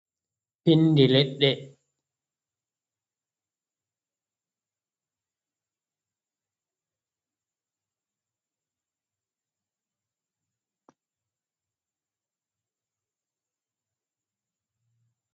Pinndi leɗɗe ɗo mari ureenga masin, ɓe ɗo ngaɗira urlee fere fere be maajum.